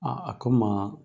Aa a ko maa